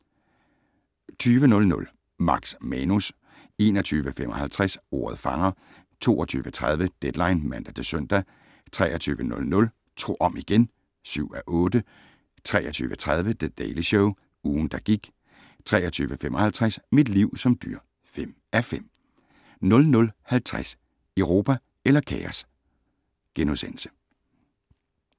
20:00: Max Manus 21:55: Ordet fanger 22:30: Deadline (man-søn) 23:00: Tro om igen! (7:8) 23:30: The Daily Show - ugen, der gik 23:55: Mit liv som dyr (5:5) 00:50: Europa eller kaos? *